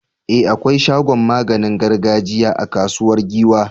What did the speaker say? E! akwai shagon maganin gargajiya a Kasuwar Giwa.